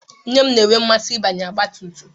Nne m na-enwe mmasị ịbanye ọgbatumtum